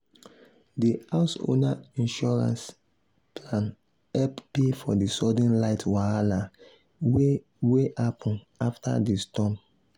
the house owner insurance plan help pay for the sudden light wahala wey wey happen after the storm.